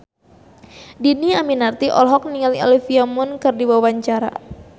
Dhini Aminarti olohok ningali Olivia Munn keur diwawancara